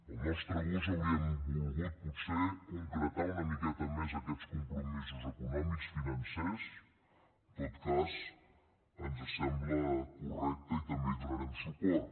al nostre gust hauríem volgut potser concretar una miqueta més aquests compromisos econòmics financers en tot cas ens sembla correcte i també hi donarem suport